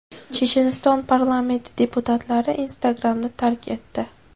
Checheniston parlamenti deputatlari Instagram’ni tark etdi.